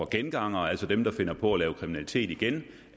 gengangere altså dem der finder på at lave kriminalitet igen